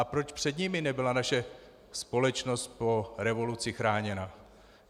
A proč před nimi nebyla naše společnost po revoluci chráněna?